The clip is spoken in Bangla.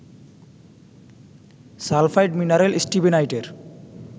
sulphide mineral স্টিবিনাইটের